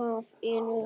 hafinu.